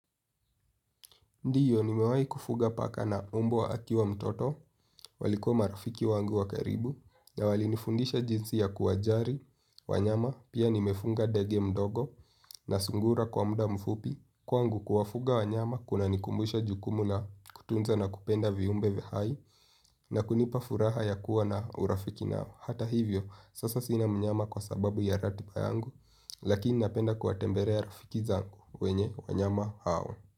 Ndiyo, nimewahi kufuga paka na umbwa akiwa mtoto, walikuwa marafiki wangu wa karibu, na walinifundisha jinsi ya kuwajali, wanyama, pia nimefuga ndege mdogo, na sungura kwa muda mfupi, kwangu kuwafuga wanyama, kuna nikumbusha jukumu na kutunza na kupenda viumbe vihai, na kunipa furaha ya kuwa na urafiki nao. Hata hivyo, sasa sina mnyama kwa sababu ya ratbai yangu, lakini napenda kuwatembelea rafiki zangu wenye wanyama hao.